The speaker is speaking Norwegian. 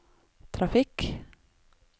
trafikk